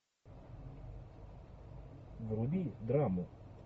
вруби драму